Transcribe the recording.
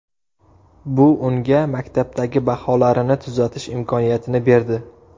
Bu unga maktabdagi baholarini tuzatish imkoniyatini berdi.